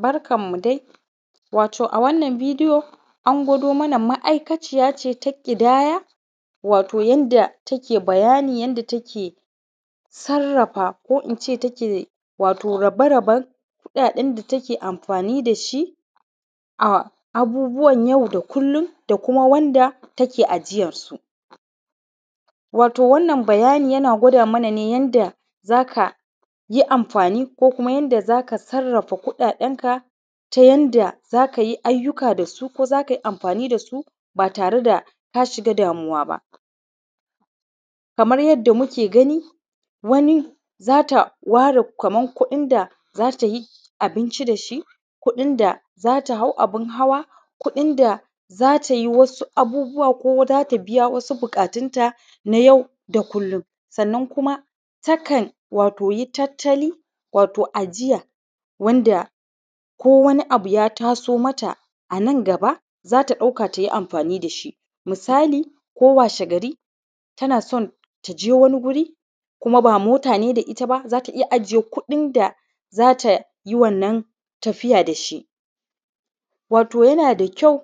Barkan mu dai wato a wannan bidiyo an gwado mana wato ma’aikaciya ce ta ƙidaya, wato yanda take bayani yanda take sarrafa, ko in ce take rabe raben kuɗaɗen da take amfani da shi a abubuwan yau da kullun da kuma wanda take ajiyan su. wato wannan bayani yana gwada mana ne yanda za ka yi amfani ko kuma yanda zaka sarrafa kuɗaɗen ka ta yanda zaka yi ayyuka dasu ko za kayi amfani dasu ba tare da ka shiga damuwa ba. Kamar yadda muke gani wani zata ware Kaman kuɗin da za tayi abinci dashi, kuɗin da zata hau abun hawa, kuɗin za tai wasu abubuwa ko zata biya wasu buƙatun ta na yau da kullun. Sannan kuma ta kan wato yi tattali wato ajiya wanda ko wani abu ya taso mata a nan gaba za ta ɗauka tai amfani dashi. misali ko washe gari tana son taje wani wuri kuma ba mota ne da ita ba zata ita ajiye kuɗin da za ta yi wannan tafiya da shi wato yana da kyau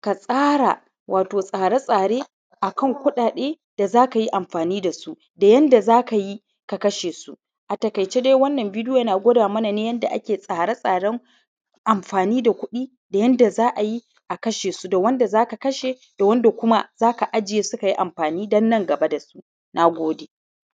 ka tsara wato tsare tsare a kan kuɗaɗe za kai amfani dasu, da yanda za kayi ka kashe su. a taƙaice dai wannan bidiyp yana gwada mana ne yanda ake tsare tsaren amfani kuɗi da yanda za ayi a kashe su da wanda za ks kashe da wanda kuma zaka aje su kayi amfani dan nan gaba dasu. Nagode